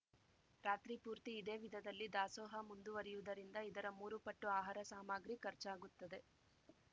ರಾತ್ರಿ ಪೂರ್ತಿ ಇದೇ ವಿಧದಲ್ಲಿ ದಾಸೋಹ ಮುಂದುವರೆಯುವುದರಿಂದ ಇದರ ಮೂರು ಪಟ್ಟು ಆಹಾರ ಸಾಮಗ್ರಿ ಖರ್ಚಾಗುತ್ತದೆ